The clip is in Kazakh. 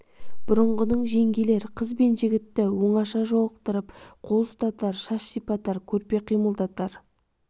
бұрынғының жеңгелер қыз бен жігітті оңаша жолықтыртып қол ұстатар шаш сипатар көрпе қимылдатар